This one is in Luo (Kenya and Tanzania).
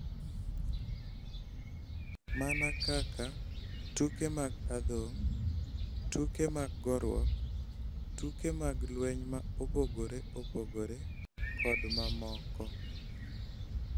Mana kaka tuke mag adhong', tuke mag goruok, tuke mag lweny ma opogore opogore, kod mamoko.